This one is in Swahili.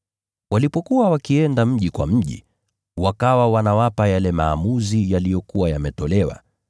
Walipokuwa wakienda mji kwa mji, wakawa wanawapa maamuzi yaliyotolewa na mitume na wazee huko Yerusalemu ili wayafuate.